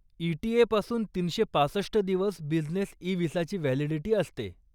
ETA पासून तीनशे पासष्ट दिवस बिझनेस इ विसाची व्हॅलिडिटी असते.